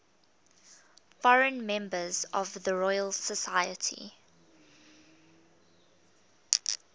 foreign members of the royal society